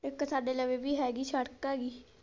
ਇੱਕ ਸਾਡੇ ਨਵੀ ਵੀ ਹੈਗੀ ਸ਼ੜਕ ਹੈਗੀ।